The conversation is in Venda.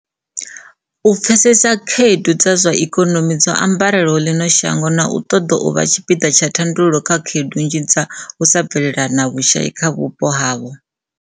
u pfesesa khaedu dza zwa ikonomi dzo ambarelaho ḽino shango, na u ṱoḓa u vha tshipiḓa tsha thandululo kha khaedu nnzhi dza u sa bvelela na vhushai kha vhupo havho.